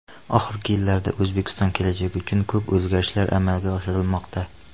Oxirgi yillarda O‘zbekiston kelajagi uchun ko‘p o‘zgarishlar amalga oshirilmoqda.